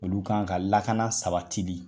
Olu kan ka lakana sabati bi.